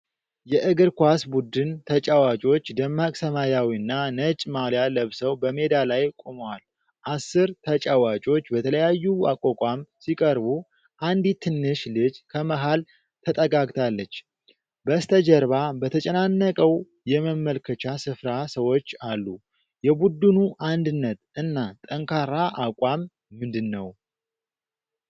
የእግር ኳስ ቡድን ተጫዋቾች ደማቅ ሰማያዊና ነጭ ማልያ ለብሰው በሜዳ ላይ ቆመዋል። አስር ተጫዋቾች በተለያዩ አቋቋም ሲቀርቡ፣ አንዲት ትንሽ ልጅ ከመሃል ተጠጋግታለች። በስተጀርባ በተጨናነቀው የመመልከቻ ስፍራ ሰዎች አሉ። የቡድኑ አንድነት እና ጠንካራ አቋም ምንድነው?